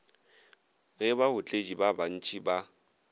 ge baotledi ba bantši ba